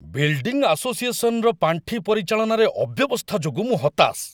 Building ଆସୋସିଏସନ୍‌ର ପାଣ୍ଠି ପରିଚାଳନାରେ ଅବ୍ୟବସ୍ଥା ଯୋଗୁଁ ମୁଁ ହତାଶ।